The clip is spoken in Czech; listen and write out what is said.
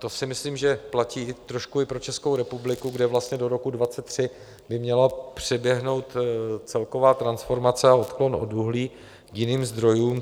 To si myslím, že platí trošku i pro Českou republiku, kde vlastně do roku 2023 by měla proběhnout celková transformace a odklon od uhlí k jiným zdrojům.